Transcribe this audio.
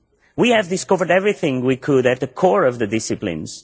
We have discovered everything we could at the core of the disciplines.